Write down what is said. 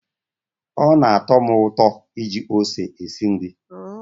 Ọ na-atọ m ụtọ iji ose esi nri.